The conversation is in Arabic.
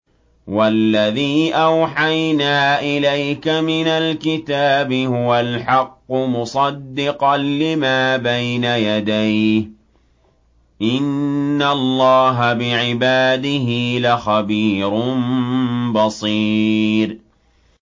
وَالَّذِي أَوْحَيْنَا إِلَيْكَ مِنَ الْكِتَابِ هُوَ الْحَقُّ مُصَدِّقًا لِّمَا بَيْنَ يَدَيْهِ ۗ إِنَّ اللَّهَ بِعِبَادِهِ لَخَبِيرٌ بَصِيرٌ